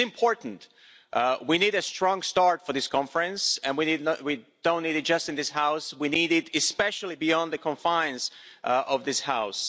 It is important we need a strong start for this conference, and we don't need it just in this House we need it especially beyond the confines of this House.